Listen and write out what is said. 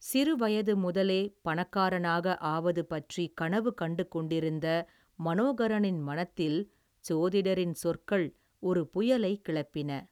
சிறு வயது முதலே பணக்காரனாக ஆவது பற்றி கனவு கண்டு கொண்டிருந்த மனோகரனின் மனத்தில் சோதிடரின் சொற்கள் ஒரு புயலைக் கிளப்பின.